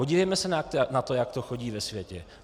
Podívejme se na to, jak to chodí ve světě.